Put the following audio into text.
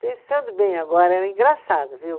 Pensando bem agora, era engraçado, viu?